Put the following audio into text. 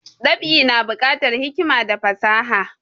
Dab'i na bukatar hikima da fasaha